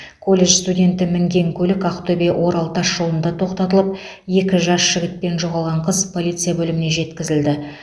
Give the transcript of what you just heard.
колледж студенті мінген көлік ақтөбе орал тасжолында тоқтатылып екі жас жігіт пен жоғалған қыз полиция бөліміне жеткізілді